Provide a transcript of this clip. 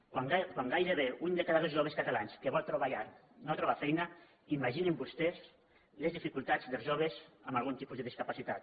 quan gairebé un de cada dos joves catalans que vol trobar llar no troba feina ima·ginin vostès les dificultats dels joves amb algun tipus de discapacitat